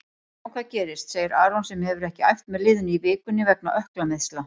Sjáum hvað gerist, segir Aron sem hefur ekki æft með liðinu í vikunni vegna ökklameiðsla.